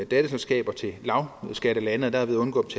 datterselskaber i lavskattelande og derved undgå